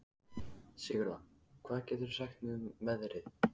Sigurða, hvað geturðu sagt mér um veðrið?